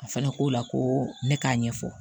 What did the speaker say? A fana ko la ko ne k'a ɲɛfɔ